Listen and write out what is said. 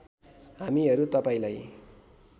हामीहरू तपाईँलाई